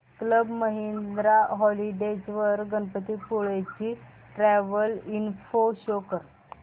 club Mahindra holidays वर गणपतीपुळे ची travel info show कर